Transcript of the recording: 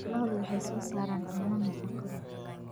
Lo'du waxay soo saaraan caano nafaqo leh.